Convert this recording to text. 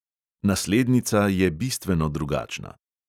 Naslednica je bistveno drugačna.